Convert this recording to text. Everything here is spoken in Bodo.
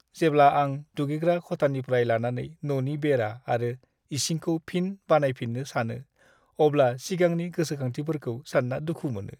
जेब्ला आं दुगैग्रा खथानिफ्राय लानानै न'नि बेरा आरो इसिंखौ फिन बानायफिन्नो सानो, अब्ला सिगांनि गोसोखांथिफोरखौ सान्ना दुखु मोनो।